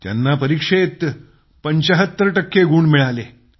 त्यांना परीक्षेत 75 टक्के मिळाले